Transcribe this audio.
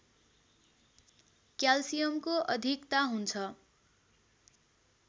क्यालसियमको अधिकता हुन्छ